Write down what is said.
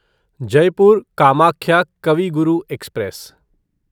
Jaipur Kamakhya Kavi Guru express